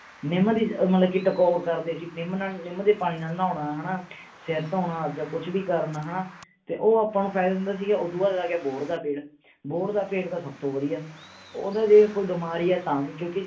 ਨਿੱਮ ਦੀ ਮਤਲਬ ਕਿ ਟਕੋਰ ਕਰਦੇ ਸੀਗੇ ਨਿੱਮ ਨਾਲ ਨਿੱਮ ਦੇ ਪਾਣੀ ਨਾਲ ਨਹਾਉਣਾ ਹੈ ਨਾ ਸਰ ਧੋਣਾ ਜਾਂ ਕੁਝ ਵੀ ਕਰਨਾ ਹੈ ਨਾ ਤੇ ਉਹ ਆਪਾਂ ਨੂੰ ਫਾਇਦਾ ਦਿੰਦਾ ਸੀਗਾ ਤੇ ਓਦੂੰ ਬਾਅਦ ਆ ਗਿਆ ਬੋਹੜ ਦਾ ਪੇੜ ਬੋਹੜ ਦਾ ਪੇੜ ਤਾਂ ਸਭ ਤੋਂ ਵਧੀਆ ਉਹ ਤਾਂ ਜੇ ਕੋਈ ਬਿਮਾਰ ਹੈ ਤਾਂ ਵੀ ਕਿਓਂਕਿ